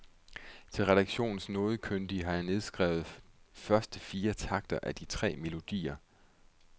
Til redaktionens nodekyndige har jeg nedskrevet første fire takter af de tre melodier.